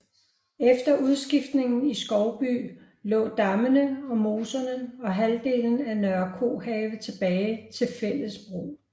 Efter udskiftningen i Skovby lå dammene og moserne og halvdelen af Nørre Kohave tilbage til fælles brug